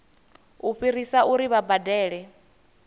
u fhirisa uri vha badele